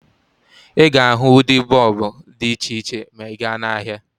Ị ga-ahụ ụdị bọọbụ dị iche iche ma ị gaa n'ahịa